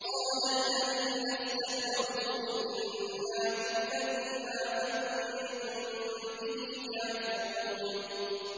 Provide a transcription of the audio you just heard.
قَالَ الَّذِينَ اسْتَكْبَرُوا إِنَّا بِالَّذِي آمَنتُم بِهِ كَافِرُونَ